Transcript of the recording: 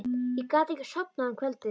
Ég gat ekki sofnað um kvöldið.